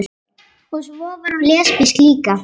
Og svo var hún lesbísk líka.